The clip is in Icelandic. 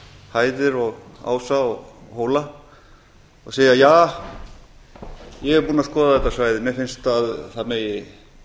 hæðir og ása og hóla og segja ja ég er búinn að skoða þetta svæði mér finnst að það megi